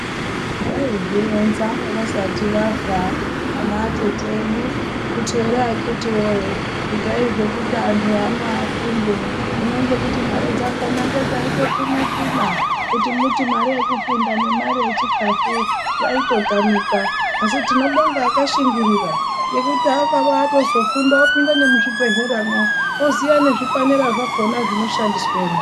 Vaizvironza vasati vafa ana atete edu kuti here akiti woye itai zvekuti anhu ano afunde, hino ngekuti mare dzakona ngedzaitsunatsuna kuti muti mare yekufunda nemare yechikafu yaitotamikwa, asi tinobonga akashingirira ngekuti akaba atozofunda opinda nemuzvibhehleramwo oziya nezvipanera zvakona zvinoshandiswemwo.